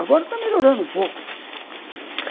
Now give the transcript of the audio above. Agora está melhorando um pouco.